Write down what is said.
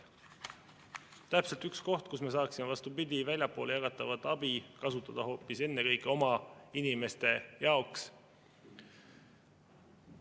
See on täpselt üks koht, kus me saaksime seda väljapoole jagatavat abi kasutada ennekõike hoopis oma inimeste jaoks.